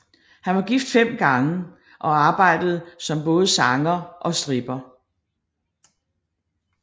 Han var gift fem gange og arbejdede som både sanger og stripper